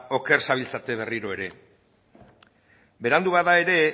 oker zabiltzate berriro ere berandu bada ere